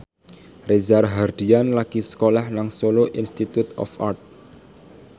Reza Rahardian lagi sekolah nang Solo Institute of Art